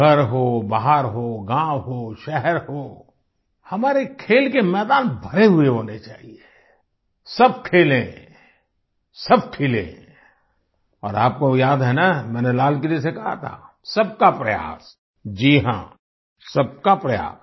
घर हो बाहर हो गाँव हो शहर हो हमारे खेल के मैदान भरे हुए होने चाहिये सब खेलेंसब खिलें और आपको याद है न मैंने लाल किले से कहा था सबका प्रयास जी हाँ सबका प्रयास